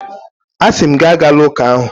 Asị m gị, agala ụka ahụ!